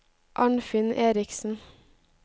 Arnfinn Erichsen